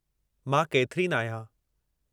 मां केथरीन आहियां।